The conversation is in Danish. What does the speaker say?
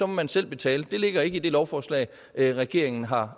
man selv betale det ligger ikke i det lovforslag regeringen har